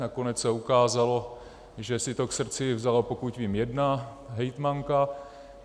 Nakonec se ukázalo, že si to k srdci vzala, pokud vím, jedna hejtmanka.